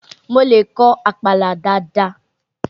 Mo lè kọ àpàlà dáadáa.